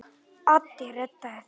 Addi reddaði því.